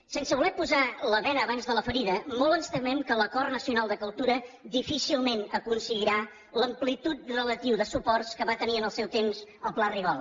sense voler posar la bena abans de la ferida molt ens temem que l’acord nacional de cultura difícilment aconseguirà l’amplitud relativa de suports que va tenir en el seu temps el pla rigol